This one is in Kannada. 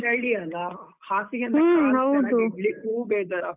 ಚಳಿ ಅಲ ಕಾಲ್ ಇಡ್ಲಿಕ್ಕೂ ಬೇಜಾರಾ.